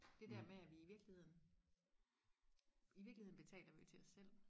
det der med at vi i virkeligheden i virkeligheden betaler vi til os selv